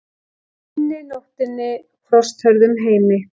unni, nóttinni og frosthörðum heimi.